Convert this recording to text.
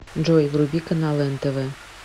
джой вруби каналы нтв